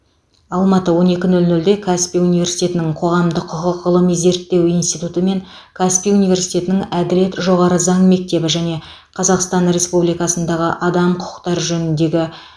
алматы он екі нөл нөлде каспий университетінің қоғамдық құқық ғылыми зерттеу институты мен каспий университетінің әділет жоғары заң мектебі және қазақстан республикасындағы адам құқықтары жөніндегі